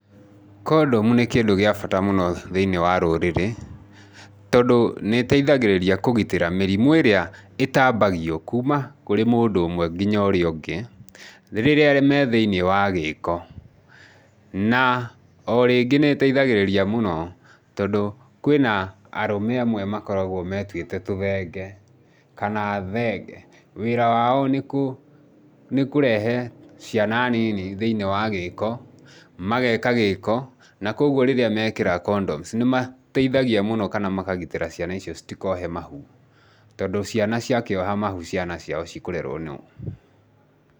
Condom nĩ kĩndũ gĩa bata mũno mũtũrĩre-inĩ tondũ nĩ ĩteithagĩrĩria kũgitĩra mĩrimũ ĩrĩa ĩtambagio kuma kũrĩ mũndũ ũmwe nginya ũrĩa ũngĩ rĩrĩa me thĩiniĩ wa gĩĩko. Na o rĩngĩ nĩ ĩteithagĩrĩria mũno tondũ kwĩna arũme amwe makoragwo metuĩte tũthenge kana thenge. Wĩra wao nĩ kũrehe ciana nini thĩinĩ wa gĩĩko. Mageeka gĩĩko, na kwoguo rĩrĩa meekĩra condoms nĩ mateithagia mũno kana makagitĩra ciana icio citikohe mahu. Tondũ, ciana ciakĩoha mahu, ciana ciao cikũrerwo nũ?